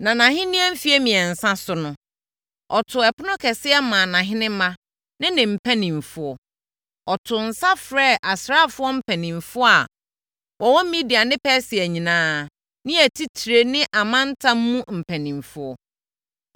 Nʼahennie mfeɛ mmiɛnsa so no, ɔtoo ɛpono kɛseɛ maa nʼahenemma ne ne mpanimfoɔ. Ɔtoo nsa frɛɛ asraafoɔ mpanimfoɔ a wɔwɔ Media ne Persia nyinaa ne atitire ne amantam mu mpanimfoɔ.